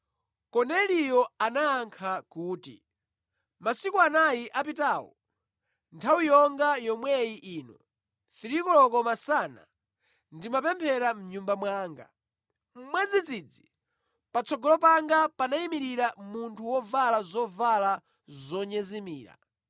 Komeliyo anayankha kuti, “Masiku anayi apitawo, nthawi yonga yomwe ino, 3 koloko masana ndimapemphera mʼnyumba mwanga. Mwadzidzidzi patsogolo panga panayimirira munthu wovala zovala zonyezimira.